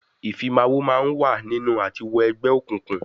Ìfimawo máa ń wà nínú àti wọ Egbe òkùnkùn